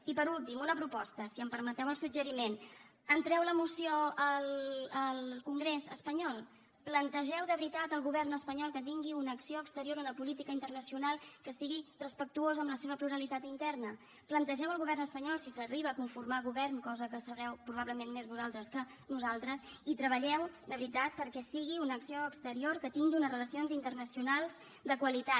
i per últim una proposta si em permeteu el suggeriment entreu la moció al congrés espanyol plantegeu de veritat al govern espanyol que tingui una acció exterior una política internacional que sigui respectuosa amb la seva pluralitat interna plantegeu al govern espanyol si s’arriba a conformar govern cosa que sabreu probablement més vosaltres que nosaltres i treballeu de veritat perquè sigui una acció exterior que tingui unes relacions internacionals de qualitat